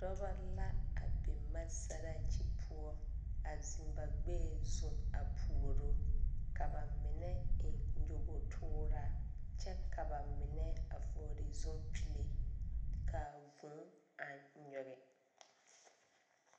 Dɔba la a biŋ maasaraakyi poɔ a ziŋ ba gbɛɛ zu a puoro ka ba mine eŋ nyɔbogre tooraa kyɛ ka ba mine a vɔgle zupile ka vuu a nyige.